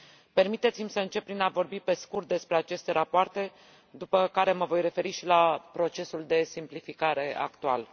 Permiteți mi să încep prin a vorbi pe scurt despre aceste rapoarte, după care mă voi referi și la procesul de simplificare actual.